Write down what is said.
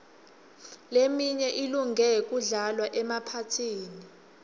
leminye ilunge kudlalwa emaphathini